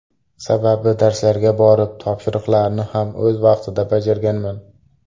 Sababi darslarga borib, topshiriqlarni ham o‘z vaqtida bajarganman.